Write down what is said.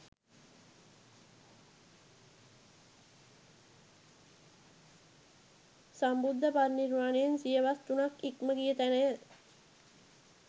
සම්බුද්ධ පරිනිර්වාණයෙන් සියවස් තුනක් ඉක්ම ගිය තැනය.